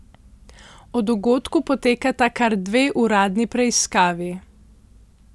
O dogodku potekata kar dve uradni preiskavi.